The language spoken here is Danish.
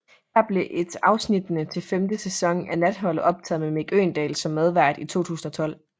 Her blev et afsnittene til femte sæson af Natholdet optaget med Mick Øgendahl som medvært i 2012